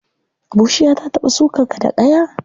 Bushiya ta taɓa sukar ka da ƙaya?